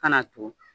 Kana tugu